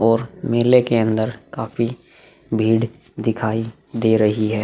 और मेले के अंदर काफी भीड़ दिखाई दे रही है।